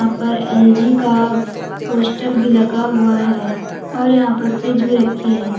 यहां पर एल_जी का पोस्टर भी लगा हुआ है और यहां पर फ्रिज भी रखी है।